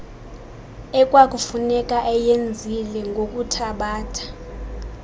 ekwakufuneka eyenzile ngokuthabatha